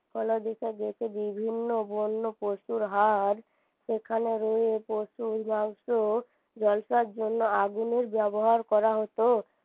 ফলা দেখা গেছে বিভিন্ন বন্যপশুর হাড় সেখানে রয়ে পশুর মাংস ঝলসার জন্য আগুনের ব্যবহার করা হত